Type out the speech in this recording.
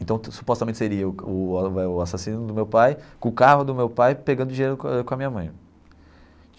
Então, supostamente, seria o o o assassino do meu pai, com o carro do meu pai, pegando dinheiro com a com a minha mãe.